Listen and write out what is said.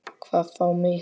Hvað þá mig.